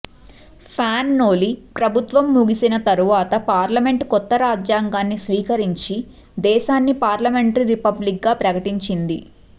fan Noli ప్రభుత్వం ముగిసిన తరువాత పార్లమెంటు కొత్త రాజ్యాంగాన్ని స్వీకరించి దేశాన్ని పార్లమెంటరీ రిపబ్లిక్గా ప్రకటించింది